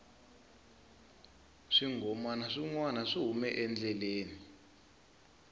swinghomana swi nwana swi hume endleleni